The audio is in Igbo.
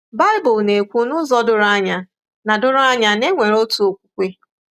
Baịbụl na-ekwu n’ụzọ doro anya na doro anya na e nwere otu okwukwe.